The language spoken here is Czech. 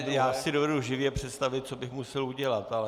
Ne, já si dovedu živě představit, co bych musel udělat, ale...